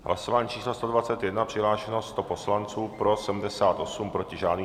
Hlasování číslo 121, přihlášeno 100 poslanců, pro 78, proti žádný.